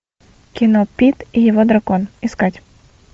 кино пит и его дракон искать